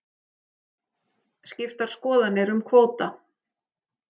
Skiptar skoðanir um kvóta